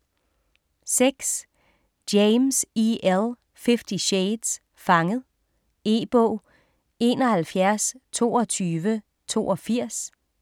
6. James, E. L.: Fifty shades: Fanget E-bog 712282